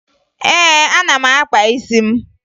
Ee, ana m akpa isi m